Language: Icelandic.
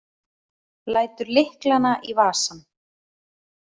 Lætur lyklana í vasann.